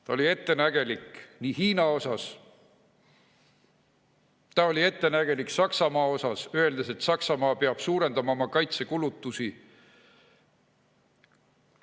Ta oli ettenägelik Hiina osas, ta oli ettenägelik Saksamaa osas, öeldes, et Saksamaa peab suurendama oma kaitsekulutusi.